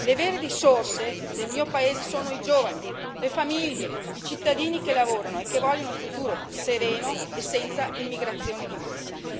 Le vere risorse del mio paese sono i giovani, le famiglie, i cittadini che lavorano e che vogliono un futuro sereno e senza immigrazione di massa.